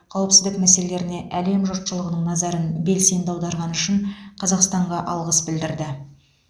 қауіпсіздік мәселелеріне әлем жұртшылығының назарын белсенді аударғаны үшін қазақстанға алғыс білдірді